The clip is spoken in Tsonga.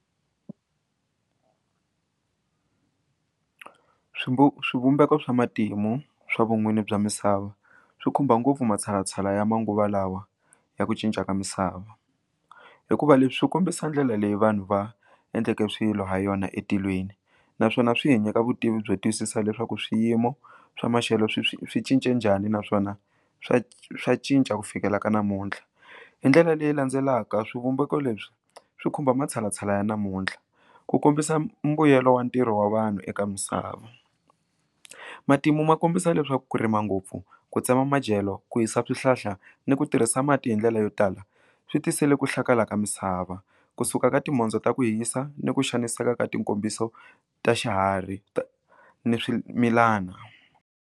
Swivumbeko swa matimu swa vun'winyi bya misava swi khumba ngopfu matshalatshala ya manguva lawa ya ku cinca ka misava hikuva leswi swi kombisa ndlela leyi vanhu va endleke swilo ha yona etilweni naswona swi hi nyika vutivi byo twisisa leswaku swiyimo swa maxelo swi swi swi cince njhani naswona swa swa cinca ku fikela ka namuntlha hi ndlela leyi landzelaka swivumbeko leswi swi khumba matshalatshala ya namuntlha ku kombisa mbuyelo wa ntirho wa vanhu eka misava matimu ma kombisa leswaku ku rima ngopfu ku tsema madyelo ku hisa swihlahla ni ku tirhisa mati hindlela yo tala swi tiseli ku hlakula ka misava kusuka ka timhondzo ta ku hisa ni ku xaniseka ka tinkombiso ta xiharhi ni swimilana.